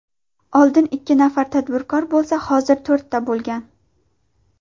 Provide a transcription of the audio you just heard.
Oldin ikki nafar tadbirkor bo‘lsa, hozir to‘rtta bo‘lgan.